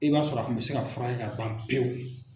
I b'a sɔrɔ a kun bɛ se ka fura kɛ ka ban pewu.